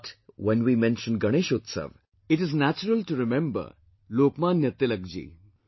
But, when we mention Ganesh Utsav, it is natural to remember Lokmanya Tilak ji